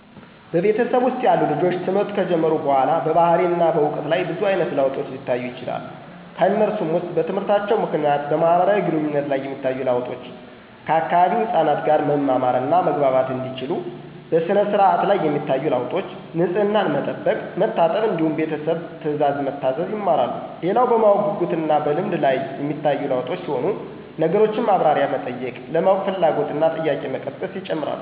በቤተሰብ ውስጥ ያሉ ልጆች ትምህርት ከጀመሩ በኋላ በባህሪና በዕውቀት ላይ ብዙ አይነት ለውጦች ሊታዩ ይችላሉ። ከነሱም ውስጥ በትምህርታቸው ምክንያት በማህበራዊ ግንኙነት ላይ የሚታዩ ለውጦች፤ ከአካባቢው ህፃናት ጋር መማማር እና መግባባት እንዲችሉ፣ በሥነ-ስርዓት ላይ የሚታዩ ለውጦች፤ ንፅህናን መጠበቅ፣ መታጠብ እንዲሁም ቤተሰብ ትእዛዝ መታዘዝ ይማራሉ። ሌላው በማወቅ ጉጉት እና በልምድ ላይ ሚታዩ ለውጦች ሲሆኑ ነገሮችን ማብራሪያ መጠየቅ፣ ለማወቅ ፍላጎት እና ጥያቄ መቀስቀስ ይጨመራሉ።